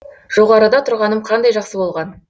жоғарыда тұрғаным қандай жақсы болған